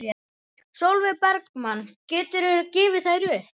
Sólveig Bergmann: Geturðu gefið þær upp?